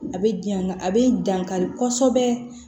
A bɛ janya a bɛ dankari kosɛbɛ